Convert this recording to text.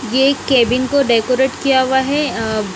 ये एक कैबिन को डेकोरेट किया हुआ है अ--